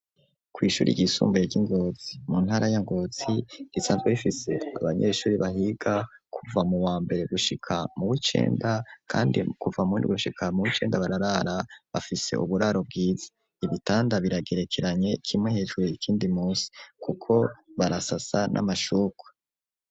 Kw' ishuri ry'isumbuye ry'ingozi mu ntara yangozi, risanzwe rifise abanyeshuri bahiga kuva mu wa mbere gushika mu wicenda ,kandi kuva mu windwi gushika mu wicenda bararara bafise uburaro bwiza, ibitanda biragerekeranye kimwe hejuru, ikindi musi kuko barasasa n'amashuka.